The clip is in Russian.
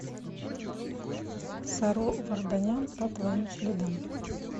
саро варданян по твоим следам